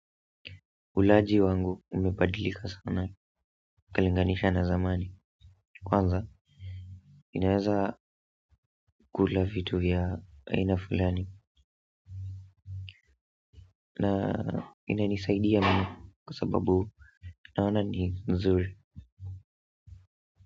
Ulaji wangu umebadilika sana ukilinganisha na zamani kwanza ninaweza kula vitu ya aina fulani na inanisaidia mno kwa sababu naona ni nzuri.